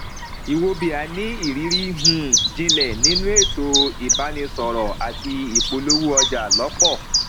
nwaobia ní irírí um jinlẹ nínú ètò ìbánisọrọ àti ìpolówó ọjà lọpọ